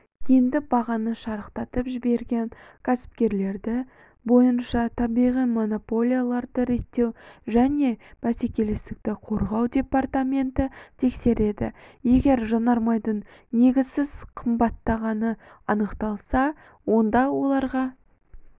енді бағаны шарықтатып жіберген кәсіпкерлерді бойынша табиғи монополияларды реттеу және бәсекелестікті қорғау департаменті тексереді егер жанармайдың негізсіз қымттағаны анықталса онда оларға